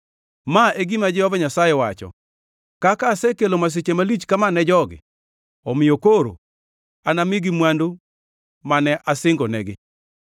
“Ma e gima Jehova Nyasaye wacho: Kaka asekelo masiche malich kama ne jogi, omiyo koro anamigi mwandu mane asingonegi.